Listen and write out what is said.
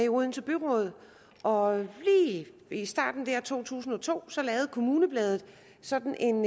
odense byråd og lige i starten der i to tusind og to lavede kommunebladet sådan en